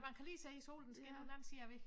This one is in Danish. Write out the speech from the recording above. Man kan lige se solen skinner på den anden side af æ væg